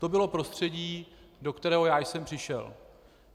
To bylo prostředí, do kterého já jsem přišel.